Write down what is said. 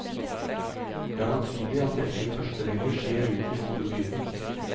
Det er naturlig at dette i første rekke skjer rundt de store byene.